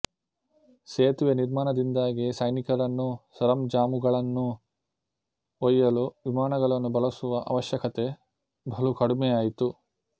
ಸೇತುವೆಯ ನಿರ್ಮಾಣದಿಂದಾಗಿ ಸೈನಿಕರನ್ನೂ ಸರಂಜಾಮುಗಳನ್ನೂ ಒಯ್ಯಲು ವಿಮಾನಗಳನ್ನು ಬಳಸುವ ಆವಶ್ಯಕತೆ ಬಲು ಕಡಿಮೆಯಾಯಿತು